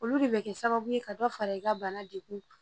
Olu de bɛ kɛ sababu ye ka dɔ fara i ka bana degun